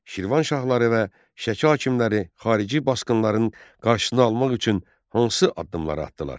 Şirvanşahları və Şəki hakimləri xarici basqınların qarşısını almaq üçün hansı addımları atdılar?